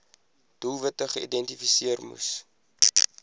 doelwitte geïdentifiseer moes